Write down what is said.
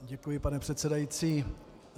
Děkuji, pane předsedající.